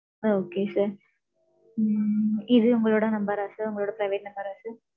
okay sir ம், இது, உங்களோட number ஆ sir உங்களோட private number ஆ sir?